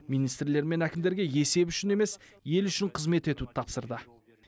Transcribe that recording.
министрлер мен әкімдерге есеп үшін емес ел үшін қызмет етуді тапсырды